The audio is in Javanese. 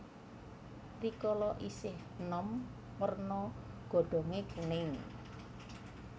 Rikala isih enom werna godhonge kuning